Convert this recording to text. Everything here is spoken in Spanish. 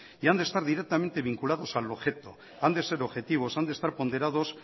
y han de estar directamente vinculados al objeto han de ser objetivos han de estar ponderados